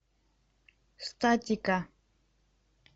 статика